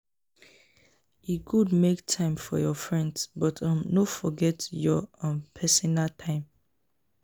E good make time for your friends, but um no forget your um personal time.